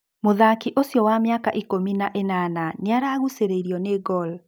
Mũthaki ũcio wa mĩaka ikũmi na ĩnana nĩaragucĩrĩrio nĩ Gor.